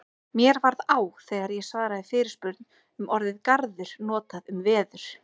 Mér varð á þegar ég svaraði fyrirspurn um orðið garður notað um veður.